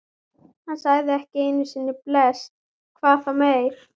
Hann sagði ekki einu sinni bless, hvað þá meir.